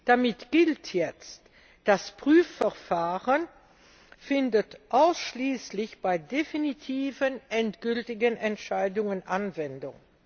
Damit gilt jetzt Das Prüfverfahren findet ausschließlich bei definitiven, endgültigen Entscheidungen Anwendung.